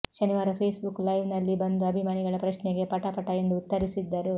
ಶನಿವಾರ Facebook live ನಲ್ಲಿ ಬಂದು ಅಭಿಮಾನಿಗಳ ಪ್ರಶ್ನೆಗೆ ಪಟ ಪಟ ಎಂದು ಉತ್ತರಿಸಿದ್ದರು